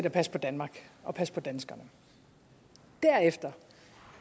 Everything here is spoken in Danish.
at passe på danmark og at passe på danskerne og derefter